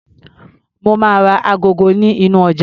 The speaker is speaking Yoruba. Mo máa ra agogo nínú ọjà.